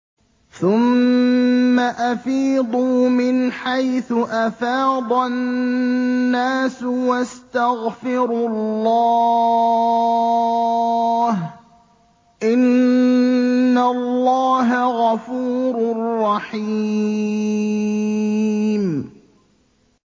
ثُمَّ أَفِيضُوا مِنْ حَيْثُ أَفَاضَ النَّاسُ وَاسْتَغْفِرُوا اللَّهَ ۚ إِنَّ اللَّهَ غَفُورٌ رَّحِيمٌ